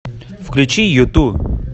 включи юту